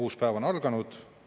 Uus päev on alanud.